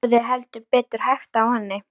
Það hafði heldur betur hægt á henni.